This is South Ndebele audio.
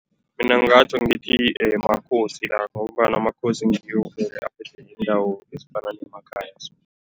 Mina ngingatjho ngithi makhosi la ngombana amakhosi ngiwo vele aphethe indawo ezifana nemakhaya.